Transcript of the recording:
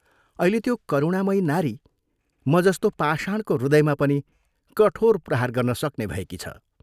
अहिले त्यो करुणामयी नारी म जस्तो पाषाणको हृदयमा पनि कठोर प्रहार गर्न सक्ने भएकी छ।